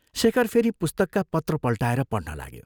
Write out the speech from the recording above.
शेखर फेरि पुस्तकका पत्र पल्टाएर पढ्न लाग्यो।